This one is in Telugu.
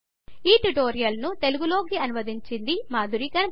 ఈ ట్యుటోరియల్ను తెలుగు లోకి అనువదించింది మాధురి గణపతి